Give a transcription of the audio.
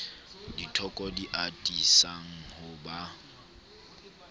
dithoko di atisang ho ba